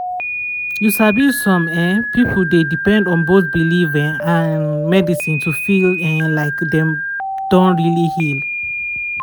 you sabi some um pipo dey depend on both belief um and medicine to feel um like dem don really heal.